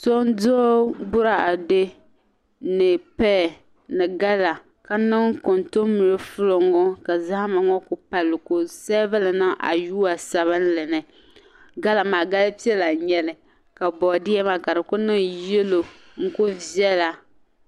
So n duɣi bɔrade ni paya ni gala, kaniŋ kun tunbre flɔ ŋɔ ka zahima ŋɔ kuli pali ka ɔ seveli n niŋ a yuwa sabinli ni gala maa gali pɛla n nyɛli ka bɔɔdiye maa ka ku niŋ yelɔw n kuli vela